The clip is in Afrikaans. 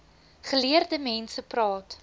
geleerde mense praat